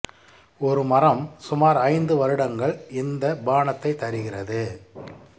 ஒரு மரம் சுமார் ஐந்து வருடங்கள் இந்த பானத்தை தருகிறது